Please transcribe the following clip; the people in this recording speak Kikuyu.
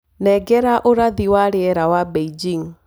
nengera ũrathi wa rĩera wa beijing